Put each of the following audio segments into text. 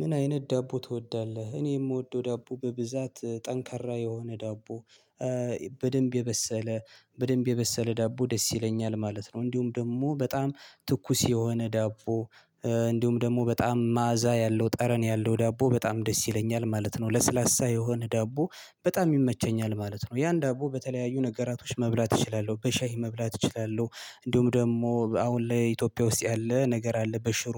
ምን አይነት ዳቦ ትወዳለህ? እኔ የምወደው ዳቦ በብዛት ጠንካራ የሆነ ዳቦ በደንብ የበሰለ በደንብ የበሰለ ዳቦ ደስ ይለኛል ማለት ነው። እንዲሁም ደግሞ በጣም ትኩስ የሆነ ዳቦ እንዲሁም ደግሞ በጣም መዓዛ ያለው ጠረን ያለው ዳቦ በጣም ደስ ይለኛል ማለት ነው። ለስላሳ የሆነ ዳቦ በጣም ይመቸኛል ማለት ነው። ያን ዳቦ በተለያዩ ነገራቶች መብላት እችላለሁ በሻይ መብላት እችላለሁ። እንዲሁም ደግሞ አሁን ላይ ኢትዮጵያ ውስጥ ያለ ነገር አለ በሽሮ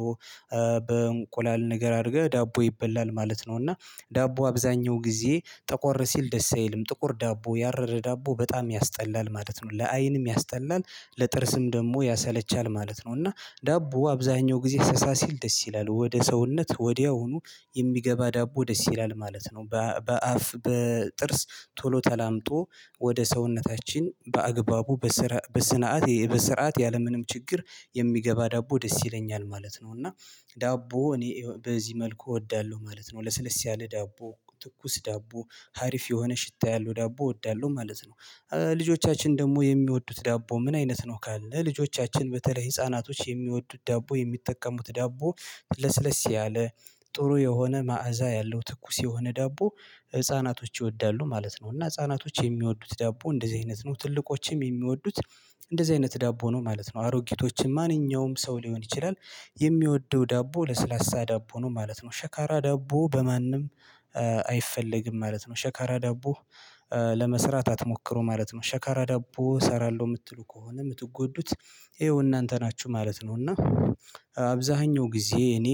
በእንቁላል ነገር አድርገህ ዳቦ ይበላል ማለት ነው። እና ዳቦ አብዛኛው ጊዜ ጠቆር ሲል ደስ አይልም ጥቁር ዳቦ ያረረ ዳቦ በጣም ያስጠላል ማለት ነው ለአይንም ያስጠላል። ለጥርስም ደግሞ ያሰለቻል ማለት ነው። እና ዳቦ አብዛኛው ጊዜ ሳሳ ሲል ደስ ይላል ወደ ሰውነት ወዲያውኑ የሚገባ ዳቦ ደስ ይላል ማለት ነው። በአፍ በጥርስ ቶሎ ተላምጦ ወደ ሰውነታችን በአግባቡ በስርዓቱ በስናት በስርዓት ያለምንም ችግር የሚገባ ዳቦ ደስ ይለኛል ማለት ነው። እና ዳቦ እኔ በዚህ መልኩ እወዳለሁ ማለት ነው። ለስለስ ያለ ዳቦ ትኩስ ዳቦ ሀሪፍ የሆነ ሽታ ያለው ዳቦ እወዳለሁ ማለት ነው። ልጆቻችን ደግሞ የሚወዱት ዳቦ ምን አይነት ነው? ካለን ልጆቻችን በተለይ ህፃናቶች የሚወዱት ዳቦ የሚጠቀሙት ዳቦ ለስለስ ያለ ጥሩ የሆነ መዓዛ ያለው ትኩስ የሆነ ዳቦ ህፃናቶች ይወዳሉ ማለት ነው። እና ህፃናቶች የሚወዱት ዳቦ እንደዚህ አይነት ነው። ትልቆችም የሚወዱት እንደዚህ አይነት ዳቦ ነው ማለት ነው። አሮጊቶችን ማንኛውም ሰው ሊሆን ይችላል የሚወደው ዳቦ ለስላሳ ዳቦ ነው ማለት ነው። ሸካራ ዳቦ በማንም አይፈለግም ማለት ነው። ሸካራ ዳቦ ለመስራት አትሞክሩ ማለት ነው። ሸካራ ዳቦ እሰራለሁ የምትሉ ከሆነ የምትጎዱት ይኸው እናንተ ናችሁ ማለት ነው። እና አብዛኛው ጊዜ እኔ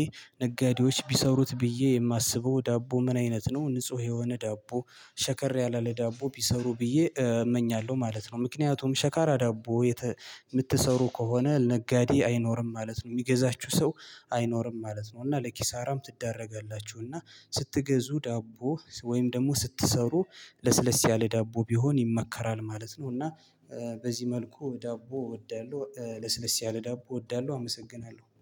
ነጋዴዎች ቢሰሩት ብዬ የማስበው ዳቦ ምን አይነት ነው? ንጹህ የሆነ ዳቦ ሸከር ያለ ለዳቦ ቢሰሩ ብዬ እመኛለሁ ማለት ነው። ምክንያቱም ሸካራ ዳቦ የምትሰሩ ከሆነ ነጋዴ አይኖርም ማለት ነው። የሚገዛችሁ ሰው አይኖርም ማለት ነው። እና ለኪሳራም ትዳረጋላችሁ እና ስትገዙ ዳቦ ወይም ደግሞ ስትሰሩ ለስለስ ያለ ዳቦ ቢሆን ይመከራል ማለት ነው። እና በዚህ መልኩ ዳቦ እወዳለሁ ለስለስ ያለ ዳቦ እወዳለሁ አመሰግናለሁ